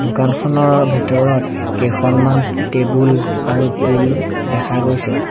দোকানখনৰ ভিতৰত কেইখনমান টেবুল আৰু টূল্ দেখা গৈছে।